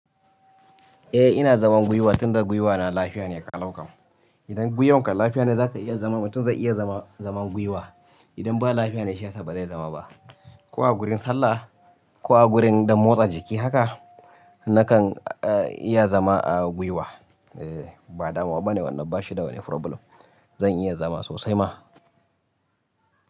Eh ina zaman gwiwa tunda gwiwa na lafiya ne ƙalauƙam. Idan gwiwanka lafiya ne zaka iya zaman mutum zai iya zaman gwiwa. Idan ba lafiya ne shiyasa ba zai zama ba, ko a gurin sallah ko a gurin ɗan motsa jiki haka nakan iya zama a gwiwa. Ba damuwa ba ne wannan bashi da wani froblem. Zan iya zama sosai ma.